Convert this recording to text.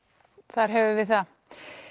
þar höfum við það